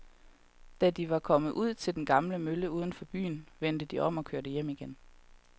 Da de var kommet ud til den gamle mølle uden for byen, vendte de om og kørte hjem igen.